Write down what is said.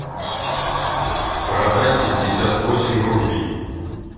продать пятьдесят восемь рупий